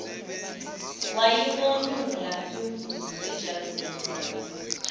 wayimonyula imvubu ejazini